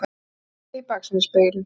Mér verður litið í baksýnisspegilinn.